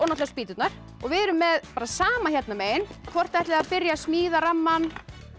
spýturnar við erum með sama hérna megin hvort ætlið þið að byrja að smíða rammann